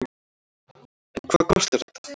En hvað kostar þetta?